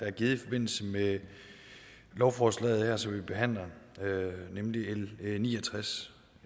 er givet i forbindelse med lovforslaget her som vi behandler nemlig l ni og tres